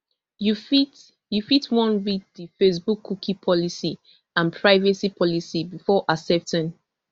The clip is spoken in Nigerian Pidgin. you fit you fit wan read di facebookcookie policyandprivacy policybefore accepting